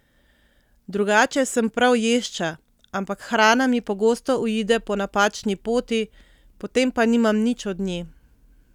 Drugače sem prav ješča, ampak hrana mi pogosto uide po napačni poti, potem pa nimam nič od nje.